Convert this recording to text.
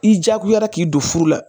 I jagoyara k'i don furu la